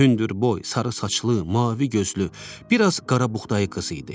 Hündür boy, sarı saçlı, mavi gözlü, bir az qarabuğdayı qız idi.